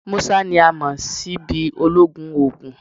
Musa ni a mọ si bi ologun oogun